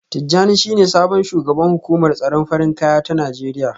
Tijjani shine sabon shugaban hukumar tsaron farin kaya ta Najeriya